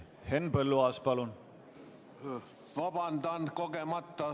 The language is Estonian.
Henn Põlluaas, palun!